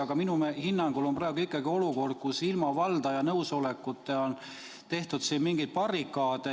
Aga minu hinnangul on praegu ikkagi olukord, kus ilma valdaja nõusolekuta on tehtud siin mingeid barrikaade.